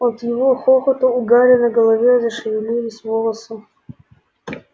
от его хохота у гарри на голове зашевелились волосы